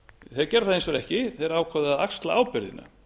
þeir gera það hins vegar ekki þeir ákváðu að axla ábyrgðina